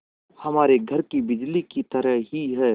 हमारे घर की बिजली की तरह ही है